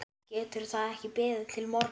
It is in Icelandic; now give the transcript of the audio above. Getur það ekki beðið til morguns?